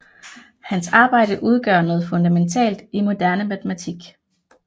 Hans arbejde udgør noget fundamentalt i moderne matematik